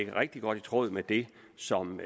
rigtig godt i tråd med det som